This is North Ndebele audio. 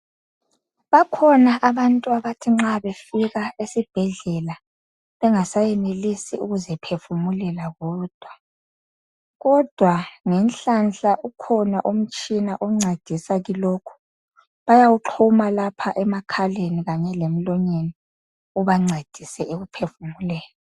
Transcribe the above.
Bakhona abantu abathi nxa befika esibhedlela bengasayenelisi ukuziphefumulela bodwa kodwa ngenhlanhla ukhona umtshina oncedisa kilokho bayawuxhuma lapha emakhaleni kanye lemlonyeni ubancedise ekuphefumuleni